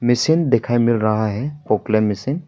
Machine देखै मिल रहा है पोकलेन मशीन ।